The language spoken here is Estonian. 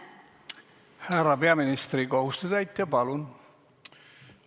Härra peaministri kohusetäitja, palun!